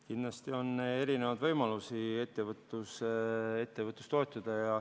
Kindlasti on erinevaid võimalusi ettevõtlust toetada.